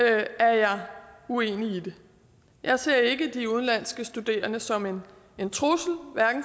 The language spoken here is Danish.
er jeg uenig i det jeg ser ikke de udenlandske studerende som en trussel